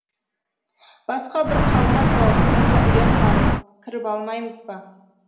басқа бір қалқа тауып сонда ұя салып кіріп алмаймыз ба